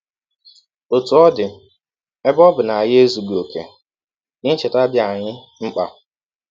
Ọtụ ọ dị, ebe ọ bụ na anyị ezughị ọkè, ihe ncheta dị anyị mkpa.